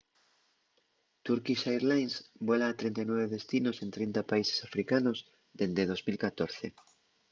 turkish airlines vuela a 39 destinos en 30 países africanos dende 2014